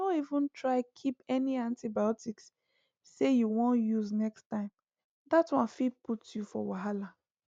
no even try keep any antibiotics say you wan use next time that one fit put you for wahala